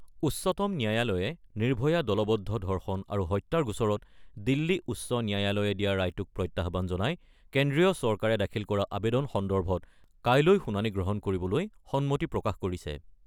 উচ্চতম ন্যায়ালয়ে নিৰ্ভয়া দলবদ্ধ ধৰ্ষণ আৰু হত্যাৰ গোচৰত দিল্লী উচ্চ ন্যায়ালয়ে দিয়া ৰায়টোক প্ৰত্যাহ্বান জনাই কেন্দ্ৰীয় চৰকাৰে দাখিল কৰা আবেদন সন্দৰ্ভত কাইলৈ শুনানি গ্ৰহণ কৰিবলৈ সন্মতি প্ৰকাশ কৰিছে।